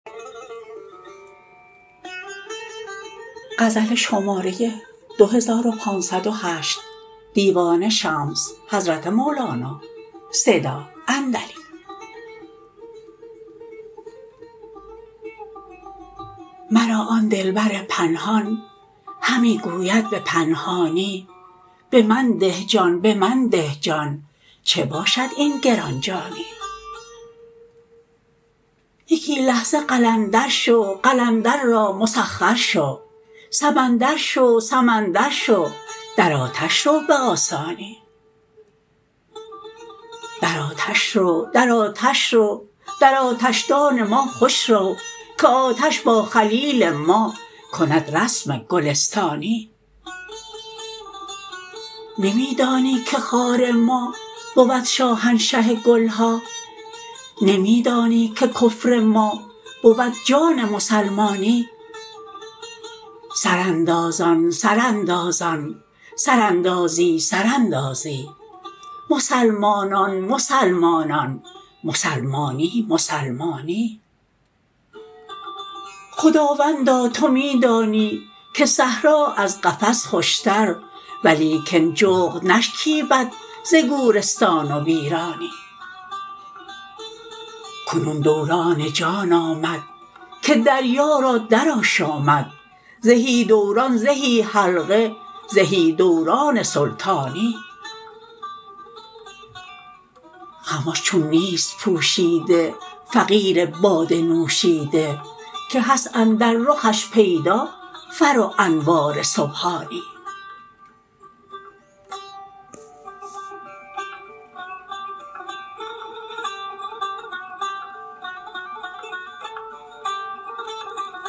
مرا آن دلبر پنهان همی گوید به پنهانی به من ده جان به من ده جان چه باشد این گران جانی یکی لحظه قلندر شو قلندر را مسخر شو سمندر شو سمندر شو در آتش رو به آسانی در آتش رو در آتش رو در آتشدان ما خوش رو که آتش با خلیل ما کند رسم گلستانی نمی دانی که خار ما بود شاهنشه گل ها نمی دانی که کفر ما بود جان مسلمانی سراندازان سراندازان سراندازی سراندازی مسلمانان مسلمانان مسلمانی مسلمانی خداوندا تو می دانی که صحرا از قفس خوشتر ولیکن جغد نشکیبد ز گورستان ویرانی کنون دوران جان آمد که دریا را درآشامد زهی دوران زهی حلقه زهی دوران سلطانی خمش چون نیست پوشیده فقیر باده نوشیده که هست اندر رخش پیدا فر و انوار سبحانی